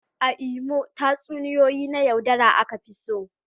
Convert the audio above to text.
A Imo, tatsuniyoyi na yaudara aka fi so.